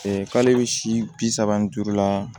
k'ale bɛ si bi saba ni duuru la